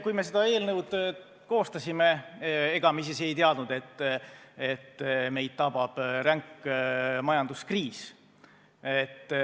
Kui me seda eelnõu koostasime, ega me siis ei teadnud, et meid tabab ränk majanduskriis.